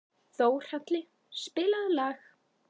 Þórhalli, spilaðu lag.